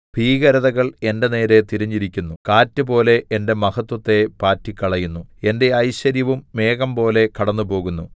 ഭീകരതകൾ എന്റെ നേരെ തിരിഞ്ഞിരിക്കുന്നു കാറ്റുപോലെ എന്റെ മഹത്വത്തെ പാറ്റിക്കളയുന്നു എന്റെ ഐശ്വര്യവും മേഘംപോലെ കടന്നുപോകുന്നു